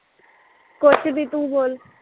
ਕੁਛ ਨੀ ਤੂੰ ਬੋਲ